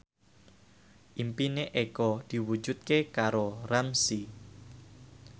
impine Eko diwujudke karo Ramzy